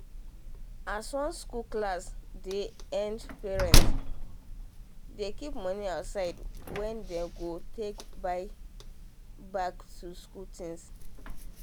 as um one school clsss dey end parent dey keep money aside wen um them go take buy back to school things